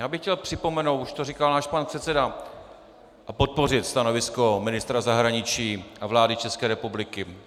Já bych chtěl připomenout, už to říkal náš pan předseda, a podpořit stanovisko ministra zahraničí a vlády České republiky.